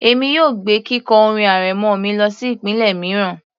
Èmi yóò gbé kíkọ orin arẹmọ mi lọsí ìpele mìíràn